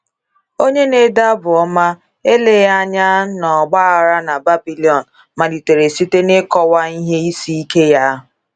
Onye na - ede Abụ Ọma, eleghị anya n’ọgbaghara na Babilọn, malitere site n’ịkọwa ihe isi ike ya.